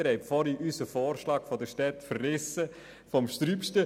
Vorhin haben Sie unseren Vorschlag seitens der Städte heftig verrissen.